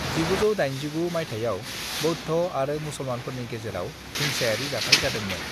1989 मायथाइआव बौद्ध' आरो मुसलमानफोरनि गेजेराव हिंसायारि जाथाइ जादोंमोन।